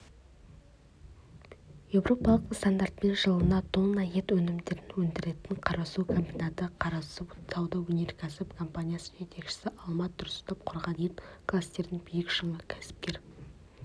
еуропалық стандартпен жылына тонна ет өнімдерін өндіретін қарасу комбинаты қарасу сауда-өнеркәсіп компаниясының жетекшісі алмат тұрсынов құрған ет кластерінің биік шыңы кәсіпкер